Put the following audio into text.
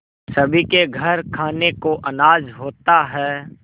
सभी के घर खाने को अनाज होता है